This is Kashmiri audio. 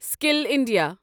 skill India